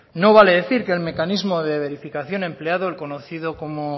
no vale decir que el mecanismo de verificación empleado el conocido como